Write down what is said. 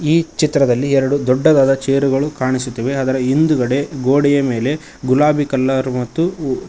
ಈ ಚಿತ್ರದಲ್ಲಿ ಎರಡು ದೊಡ್ಡದಾದ ಚೇರುಗಳು ಕಾಣಿಸುತ್ತವೆ ಅದರ ಹಿಂದ್ಗಡೆ ಗೋಡೆಯ ಮೇಲೆ ಗುಲಾಬಿ ಕಲರ್ ಮತ್ತು--